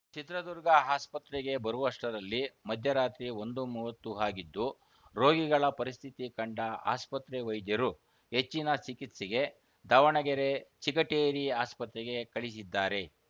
ಚಿತ್ರದುರ್ಗ ಆಸ್ಪತ್ರೆಗೆ ಬರುವಷ್ಟರಲ್ಲಿ ಮಧ್ಯರಾತ್ರಿ ಒಂದು ಮೂವತ್ತು ಆಗಿದ್ದು ರೋಗಿಗಳ ಪರಿಸ್ಥಿತಿ ಕಂಡ ಆಸ್ಪತ್ರೆ ವೈದ್ಯರು ಹೆಚ್ಚಿನ ಚಿಕಿತ್ಸೆಗೆ ದಾವಣಗೆರೆ ಚಿಗಟೇರಿ ಆಸ್ಪತ್ರೆಗೆ ಕಳಿಸಿದ್ದಾರೆ